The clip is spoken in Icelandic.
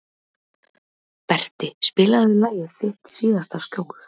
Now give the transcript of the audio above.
Berti, spilaðu lagið „Þitt síðasta skjól“.